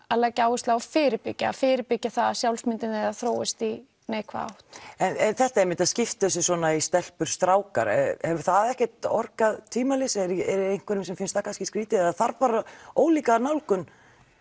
að leggja áherslu á að fyrirbyggja fyrirbyggja það að sjálfsmyndin þeirra þróist í neikvæða átt en þetta einmitt að skipta þessu í svona stelpur strákar hefur það ekkert orkað tvímælis er einhverjum sem finnst það kannski skrýtið eða þarf bara ólíka nálgun